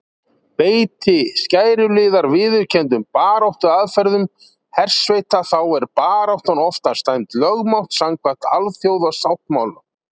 Beiti skæruliðar viðurkenndum baráttuaðferðum hersveita þá er baráttan oftast dæmd lögmæt samkvæmt alþjóðasáttmálum.